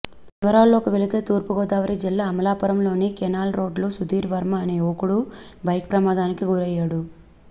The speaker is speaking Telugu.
వివరాల్లోకి వెళితే తూర్పుగోదావరి జిల్లా అమలాపురం లోని కెనాల్ రోడ్డులో సుధీర్ వర్మ అనే యువకుడు బైక్ ప్రమాదానికి గురయ్యాడు